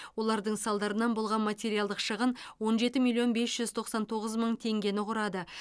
олардың салдарынан болған материалдық шығын он жеті миллион бес жүз тоқсан тоғыз мың тенгені құрады